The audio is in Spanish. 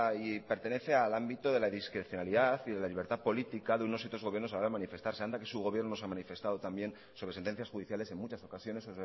y pertenece al ámbito de la discrecionalidad y de la libertad política de unos y otros gobiernos a la hora de manifestarse anda que su gobierno se ha manifestado también sobre sentencias judiciales en muchas ocasiones